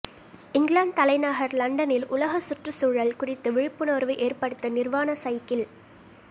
இங்கிலாந்து தலைநகர் லண்டனில் உலக சுற்றுச்சூழல் குறித்து விழிப்புணர்வு ஏற்படுத்த நிர்வாண சைக்கிள்